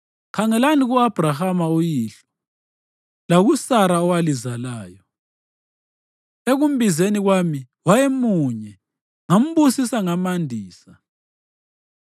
khangelani ku-Abhrahama, uyihlo, lakuSara owalizalayo. Ekumbizeni kwami wayemunye, ngambusisa ngamandisa.